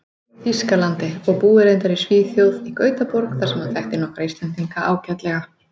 Þýskalandi, og búi reyndar í Svíþjóð, í Gautaborg, þar sem hann þekki nokkra Íslendinga ágætlega.